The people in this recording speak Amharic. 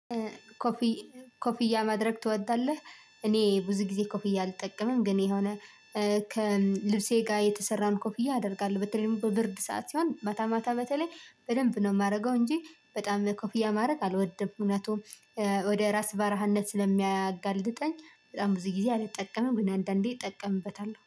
ኮፍ ኮፍያ ማድረግ ትወዳለህ? እኔም ቡዙ ጊዜ ኮፍያ አልጠቀምም ግን የሆነ እ ከልብሴ ጋር የተሰራን ኮፍያ አደርጋለሁ በተለይም በብርድ ሰዓት ሲሆን ማታ ማታ በተለይ በደንብ ነው የማደርገው እንጂ በጣም ኮፍያ ማድረግ አልወደም። እውነቱን ወደ ራስ ባራህነት ስለሚያጋልጥጠኝ በጣም ብዙ ጊዜ አልጠቀምም። ግን አንዳንዴ እጠቀምበታለሁ